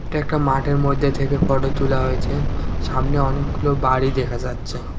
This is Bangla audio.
এটা একটা মাঠের মইদ্যে থেকে ফটো তুলা হয়েছে সামনে অনেকগুলো বাড়ি দেখা জাচ্ছে।